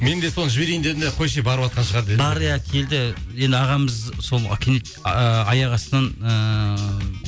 мен де соны жіберейін дедім де қойшы и барыватқан шығар деді бар иә келді ағамыз сол кенет ыыы аяқ астынан ыыы